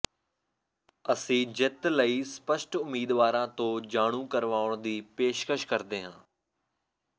ਅਸੀਂ ਜਿੱਤ ਲਈ ਸਪੱਸ਼ਟ ਉਮੀਦਵਾਰਾਂ ਤੋਂ ਜਾਣੂ ਕਰਵਾਉਣ ਦੀ ਪੇਸ਼ਕਸ਼ ਕਰਦੇ ਹਾਂ